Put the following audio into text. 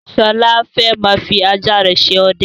Sọlá fẹ́ máa fi ajá rẹ ṣe ọdẹ